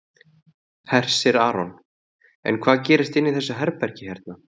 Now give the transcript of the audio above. Hersir Aron: En hvað gerist inni í þessu herbergi hérna?